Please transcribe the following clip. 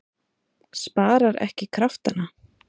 Sparar ekki kraftana.